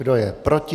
Kdo je proti?